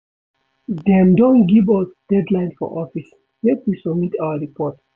Dem don give us deadline for office, make we submit our report.